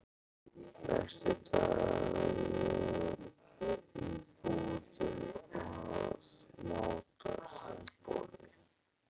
Næstu daga var ég í búðum að máta sundboli.